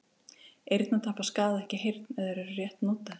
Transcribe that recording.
Eyrnatappar skaða ekki heyrn ef þeir eru rétt notaðir.